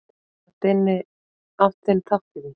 Þú átt þinn þátt í því.